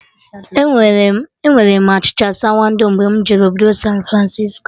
Enwere m achịcha sawado mgbe mụ jere obodo San Francisco